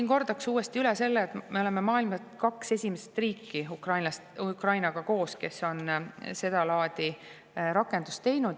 " Ma kordaksin siin uuesti üle selle, et me oleme maailmas kaks esimest riiki koos Ukrainaga, kes on sedalaadi rakenduse teinud.